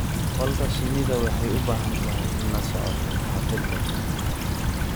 Qolka shinnida waxay u baahan tahay la socosho taxadir leh.